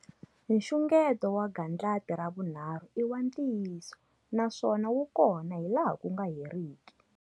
Nxungeto wa gandlati ra vunharhu i wa ntiyiso naswona wu kona hi laha ku nga heriki.